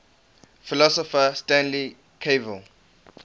philosopher stanley cavell